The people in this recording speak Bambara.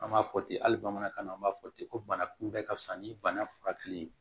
An b'a fɔ ten hali bamanankan na an b'a fɔ ten ko banakunbɛ ka fisa ni bana furakɛli ye